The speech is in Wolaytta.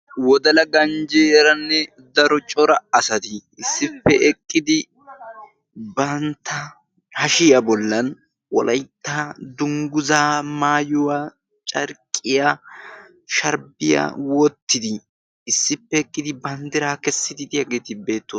wodala ganjjeeranne daro cora asati issippe eqqidi bantta hashiyaa bollan wolaitta dungguzaa maayuwaa carqqiya sharbbiyaa wottidi issippe eqqidi banddiraa kessidi diyaageeti beettoosona